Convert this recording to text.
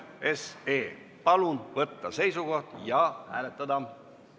Palun võtta seisukoht ja hääletada!